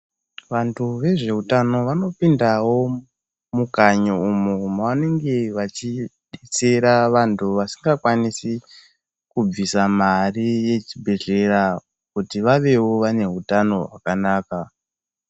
Vanhu vezveutano vanopindawo mukanyi umu. Vanenge vachidetsera vanhu vasingakwanisi kubvisa mari yechibhedhlera kuti vavewo vane utano hwakanaka.